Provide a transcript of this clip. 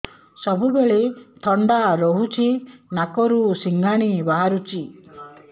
ସବୁବେଳେ ଥଣ୍ଡା ରହୁଛି ନାକରୁ ସିଙ୍ଗାଣି ବାହାରୁଚି